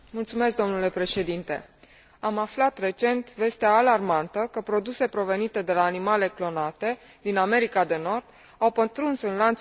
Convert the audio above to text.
Am aflat recent vestea alarmantă că produse provenite de la animale clonate din America de Nord au pătruns în lanțul alimentar european.